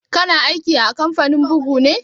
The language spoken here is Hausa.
Ka na aiki a kamfanin bugu ne?